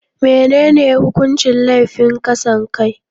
Menene hukuncin laifin kasan kai?